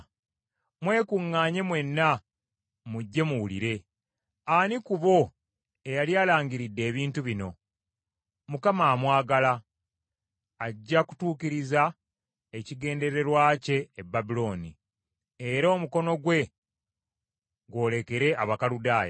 “Mwekuŋŋaanye mwenna mujje muwulire! Ani ku bo eyali alangiridde ebintu bino? Mukama amwagala; ajja kutuukiriza ekigendererwa kye e Babulooni, era omukono gwe gwolekere Abakaludaaya.